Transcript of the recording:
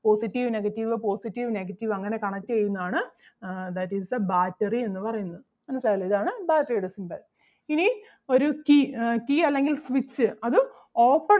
positive negative positive negative അങ്ങനെ connect ചെയ്യുന്നത് ആണ് ആഹ് that is the battery എന്ന് പറയുന്നത് മനസ്സിലായല്ലോ ഇതാണ്ട battery ടെ symbol. ഇനി ഒരു key ആഹ് key അല്ലെങ്കിൽ switch അത് open